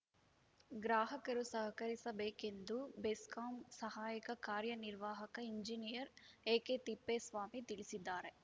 ಗ್ರಾಹಕರು ಸಹಕರಿಸಬೇಕೆಂದು ಬೆಸ್ಕಾಂ ಸಹಾಯಕ ಕಾರ್ಯ ನಿರ್ವಾಹಕ ಇಂಜಿನಿಯರ್‌ ಎಕೆತಿಪ್ಪೇಸ್ವಾಮಿ ತಿಳಿಸಿದ್ದಾರೆ